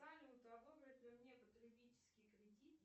салют одобрят ли мне потребительский кредит